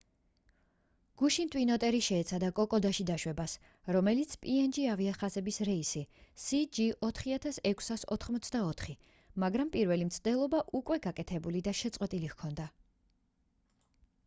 გუშინ ტვინ ოტერი შეეცადა კოკოდაში დაშვებას როგორც png ავიახაზების რეისი cg4684 მაგრამ პირველი მცდელობა უკვე გაკეთებული და შეწყვეტილი ჰქონდა